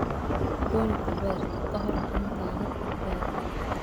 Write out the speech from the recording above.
Goynta beerta ka hor intaanad beeran